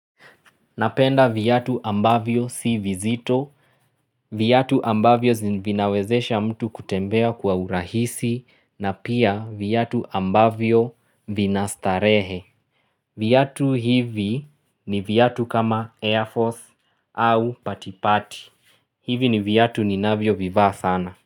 Napenda viatu ambavyo si vizito viatu ambavyo vinawezesha mtu kutembea kwa urahisi na pia viatu ambavyo vina starehe viatu hivi ni viatu kama Air Force au patipati hivi ni viatu ninavyo vivaa sana.